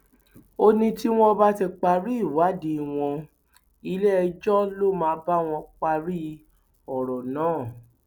ó ní tí wọn bá ti parí ìwádìí wọn iléẹjọ ló máa bá wọn parí ọrọ náà